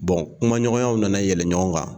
kumaɲɔgɔnyaw nana yɛlɛn ɲɔgɔn kan